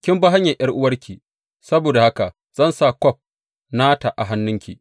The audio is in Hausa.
Kin bi hanyar ’yar’uwarki; saboda haka zan sa kwaf nata a hannunki.